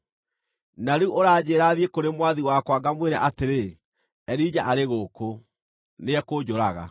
Na rĩu ũranjĩĩra thiĩ kũrĩ mwathi wakwa ngamwĩre atĩrĩ, ‘Elija arĩ gũkũ.’ Nĩekũnjũraga!”